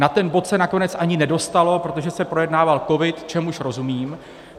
Na ten bod se nakonec ani nedostalo, protože se projednával covid, čemuž rozumím.